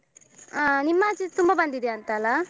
ಆ ನಿಮ್ಮಾಚೆ ತುಂಬ ಬಂದಿದ್ಯಂತಲ್ಲ?